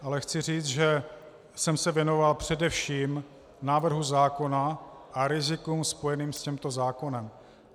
Ale chci říct, že jsem se věnoval především návrhu zákona a rizikům spojeným s tímto zákonem.